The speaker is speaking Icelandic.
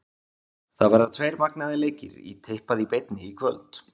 Það verða tveir magnaðir leikir í tippað í beinni í kvöld.